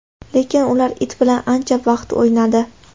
Lekin ular it bilan ancha vaqt o‘ynadi.